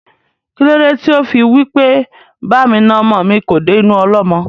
Kílódé tí ó fí wí pé "Ba mi na ọmọ mi kò dé inú ọlọ́mọ?"